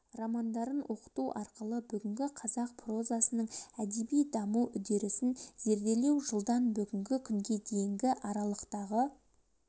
романдарын оқыту арқылы бүгінгі қазақ прозасының әдеби даму үдерісін зерделеу жылдан бүгінгі күнге дейінгі аралықтағы